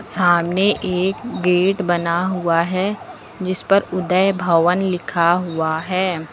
सामने एक गेट बना हुआ है जिस पर उदय भवन लिखा हुआ है।